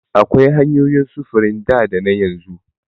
Akwai hanyoyin sufurin da dana yanzu.